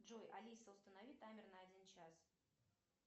джой алиса установи таймер на один час